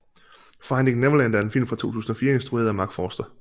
Finding Neverland er en film fra 2004 instrueret af Marc Forster